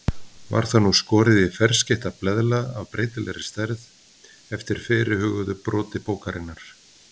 Var það nú skorið í ferskeytta bleðla af breytilegri stærð eftir fyrirhuguðu broti bókarinnar.